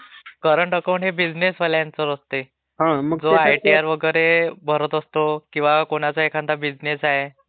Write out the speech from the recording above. current account हे बिझिनेससाठीवाल्यांसाठी असते...जो आयटीआर वगैरे भरत असतो.. किंवा कोणाचा एखादा बिझिनेस आहे....